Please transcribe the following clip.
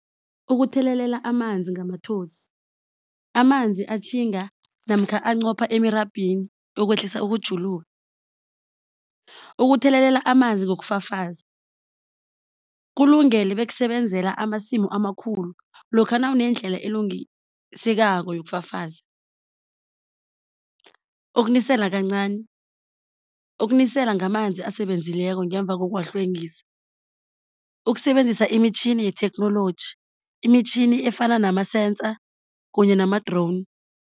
Ukuthelelela amanzi ngamathosi, amanzi atjhinga namkha ancopha emirabhini okwehlisa ukujuluka. Ukuthelelela amanzi ngokufafaza kulungele bekusebenzela amasimu amakhulu lokha nawunendlela elungisekako yokufafaza. Ukunisela kancani. Ukunisela ngamanzi asebenzileko ngemva kokuwahlwengisa. Ukusebenzisa imitjhini yetheknoloji imitjhini efana nama-sensor kunye nama-drone.